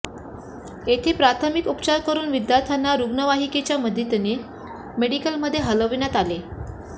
येथे प्राथमिक उपचार करून विद्यार्थ्यांना रुग्णवाहिकेच्या मदतीने मेडिकलमध्ये हलविण्यात आले